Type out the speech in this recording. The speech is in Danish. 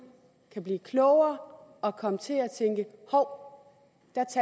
kan blive klogere og komme til at tænke hov